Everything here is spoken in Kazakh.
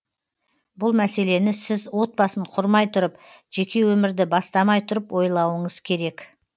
бұл мәселені сіз отбасын құрмай тұрып жеке өмірді бастамай тұрып ойлауыңыз керек